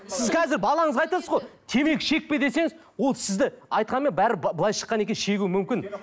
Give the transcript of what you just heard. сіз қазір балаңызға айтасыз ғой темекі шекпе десеңіз ол сізді айтқанмен былай шыққаннан кейін шегуі мүмкін